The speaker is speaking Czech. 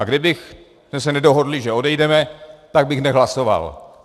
A kdybychom se nedohodli, že odejdeme, tak bych nehlasoval.